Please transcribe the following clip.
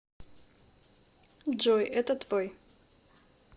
джой это твой